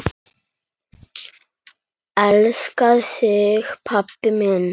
Elska þig pabbi minn.